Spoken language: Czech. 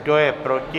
Kdo je proti?